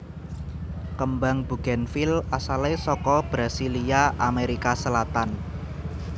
Kembang bugènvil asalé saka Brasilia Amerika Selatan